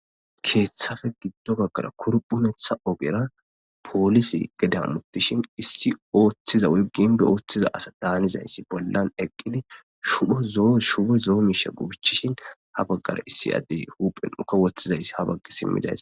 keeththafe giddo baggara kurphumetha ogera poolise geda hamottishin issi ooththiza woy ginbbe ooththiza asa daanizayssi bollan eqqidi shubo zo7o shubo zo7o miisha gubichishin ha baggara issi addey huuphen uka woththizayssi ha baggi simmidays.